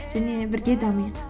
және де бірге дамиық